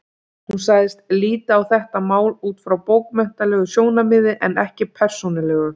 Hún sagðist líta á þetta mál út frá bókmenntalegu sjónarmiði en ekki persónulegu.